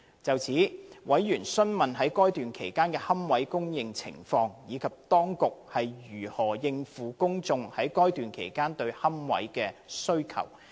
就此，委員詢問在該段期間的龕位供應情況，以及當局如何應付公眾在該段期間對龕位的需求。